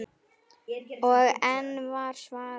Og enn var svarað